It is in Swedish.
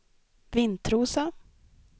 Vintrosa